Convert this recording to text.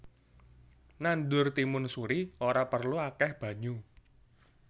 Nandur timun suri ora perlu akèh banyu